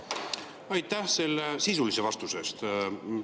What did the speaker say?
Aitäh selle sisulise vastuse eest!